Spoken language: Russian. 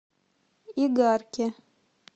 игарке